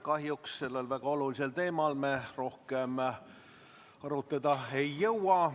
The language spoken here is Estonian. Kahjuks sellel väga olulisel teemal me rohkem arutleda ei jõua.